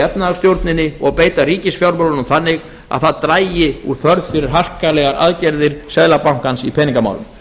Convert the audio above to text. efnahagsstjórninni og beita ríkisfjármálunum þannig að það dragi úr þörf fyrir harkalegar aðgerðir seðlabankans í peningamálum